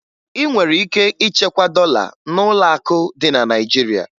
Ị nwere ike ichekwa dọla n'ụlọakụ dị na Naịjirịa